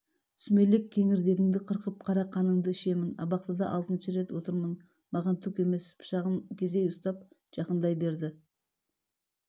сүмелек кеңірдегіңді қырқып қара қаныңды шемін абақтыда алтыншы рет отырмын маған түк емес пышағын кезей ұстап жақындай берді